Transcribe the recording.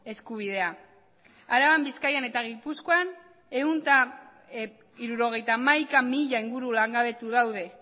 eskubidea araban bizkaian eta gipuzkoan ehun eta hirurogeita hamaika mila inguru langabetu daude